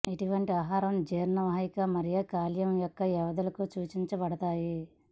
ఇటువంటి ఆహారం జీర్ణ వాహిక మరియు కాలేయం యొక్క వ్యాధులకు సూచించబడతాయి